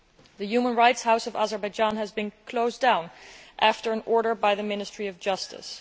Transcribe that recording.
The Human Rights House of Azerbaijan has been closed down by order of the Ministry of Justice.